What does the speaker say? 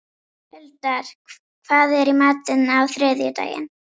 Huldar, hvað er í matinn á þriðjudaginn?